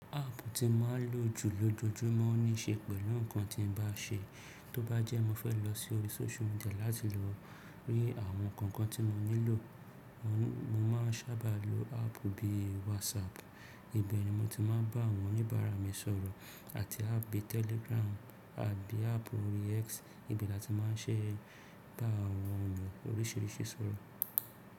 Áàpù tí mo máa ń lò jù lójoojúmọ́ ní í se pẹ̀lú nǹkan tí mo bá n ṣe. Tó bá jẹ́ mo fẹ́ lọ sí orí social media láti lọ rí àwọn nkan kan tí mo nílò, mo máa ń sábà lo áàpù bí WhatsApp. Ibẹ̀ ni mo ti máa ń bá àwọn oníbàárà mi sọ̀rọ̀. Àti áàpù Telegram àbí áàpù orí X ibe láti máa ń ṣe bá àwọn eniyan oríṣìríṣì sọ̀rọ̀.